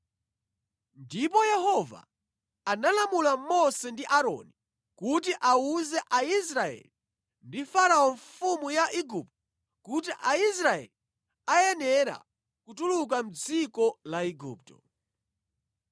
Ndipo Yehova analamula Mose ndi Aaroni kuti awuze Aisraeli ndi Farao mfumu ya Igupto kuti Aisraeli ayenera kutuluka mʼdziko la Igupto.